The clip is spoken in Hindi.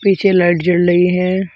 पीछे लाइट जल रही है।